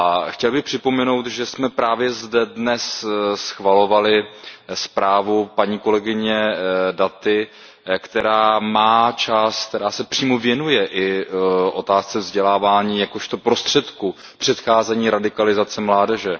Chtěl bych připomenout, že jsme právě zde dnes schvalovali zprávu paní kolegyně Datiové, která má část, která se přímo věnuje i otázce vzdělávání jakožto prostředku k předcházení radikalizace mládeže.